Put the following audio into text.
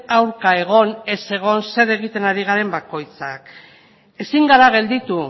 aurka egon ez egon zer egiten ari garen bakoitzak ezin gara gelditu